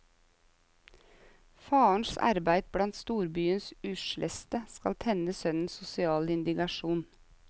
Farens arbeide blant storbyens usleste skal tenne sønnens sosiale indignasjon.